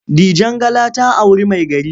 Dijangala ta auri maigari.